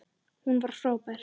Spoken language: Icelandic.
Hún var frábær.